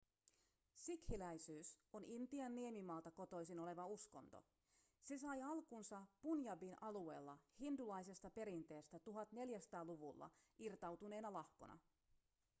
sikhiläisyys on intian niemimaalta kotoisin oleva uskonto se sai alkunsa punjabin alueella hindulaisesta perinteestä 1400-luvulla irtautuneena lahkona